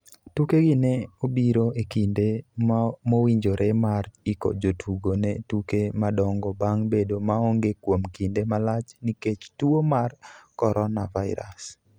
"Tukegi ne obiro e kinde mowinjore mar iko jotugo ne tuke madongo bang' bedo maonge kuom kinde malach nikech tuo mar Coronavirus.